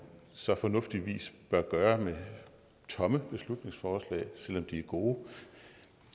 så fornuftigvis bør gøre med tomme beslutningsforslag selv om de er gode